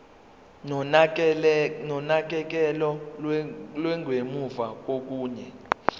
nonakekelo lwangemuva kokuya